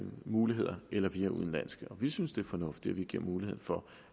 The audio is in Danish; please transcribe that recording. muligheder eller via udenlandske vi synes det er fornuftigt at vi giver mulighed for